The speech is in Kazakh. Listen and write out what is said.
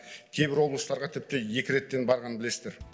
кейбір облыстарға тіпті екі реттен барғанын білесіздер